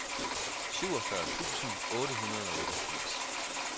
syvogfyrre tusind otte hundrede og otteogfirs